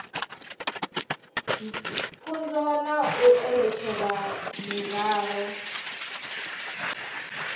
pfunzo na u eletshedza miraḓo